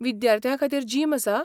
विद्यार्थ्यां खातीर जिम आसा?